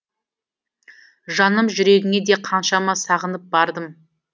жаным жүрегіңе де қаншама сағынып бардым